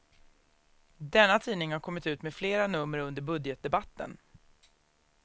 Denna tidning har kommit ut med flera nummer under budgetdebatten.